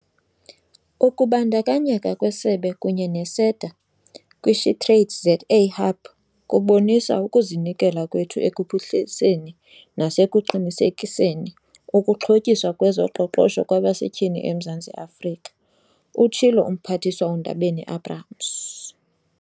"Ukubandakanyeka kwesebe kunye ne-SEDA kwi-SheTradesZA Hub kubonisa ukuzinikela kwethu ekuphuhliseni nasekuqinisekiseni ukuxhotyiswa kwezoqoqosho kwabasetyhini eMzantsi Afrika," utshilo uMphathiswa uNdabeni-Abrahams.